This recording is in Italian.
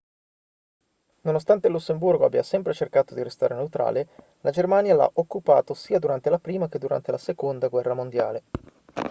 nonostante il lussemburgo abbia sempre cercato di restare neutrale la germania l'ha occupato sia durante la prima che durante la seconda guerra mondiale